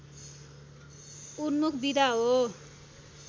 उन्मुख विधा हो